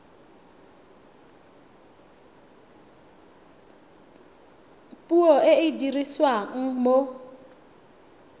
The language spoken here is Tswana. puo e e dirisiwang mo